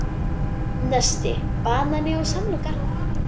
Nesti: Banani og samloka